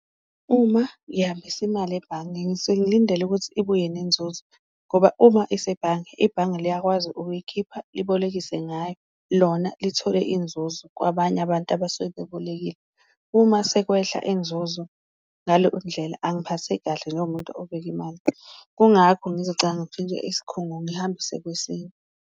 Uma ngihambisa imali ebhange ngisuke ngilindele ukuthi ibuye nenzuzo ngoba uma isebhange, ibhange liyakwazi ukuyikhipha libolekise ngayo lona lithole inzuzo kwabanye abantu abasuke bebolekile, uma sekwehla inzuzo ngaleyondlela angiphatheki kahle njengomuntu obeka imali. Kungakho ngizogcina isikhungo ngihambise kwesinye.